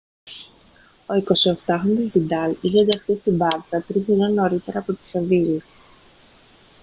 ο 28χρονος βιντάλ είχε ενταχθεί στη μπάρτσα τρεις σεζόν νωρίτερα από τη σεβίλλη